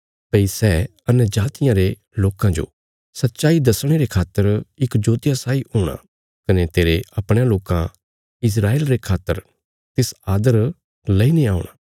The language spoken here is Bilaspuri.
भई सै अन्यजातियां रे लोकां पर परमेशरा रिया सच्चाईया जो परगट करने औल़ी ज्योति आ कने तेरे अपणयां लोकां इस्राएल रे खातर तिस आदर लेईने औणा